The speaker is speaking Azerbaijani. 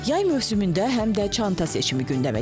Yay mövsümündə həm də çanta seçimi gündəmə gəlir.